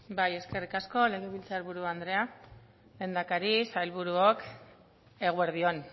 eskerrik asko legebiltzar buru andrea lehendakari sailburuok eguerdi on